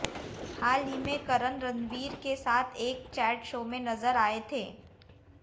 हाल ही में करण रणवीर के साथ एक चैट शो में नजर आए थे